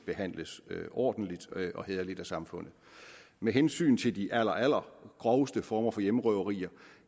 behandles ordentligt og hæderligt af samfundet med hensyn til de allerallergroveste former for hjemmerøverier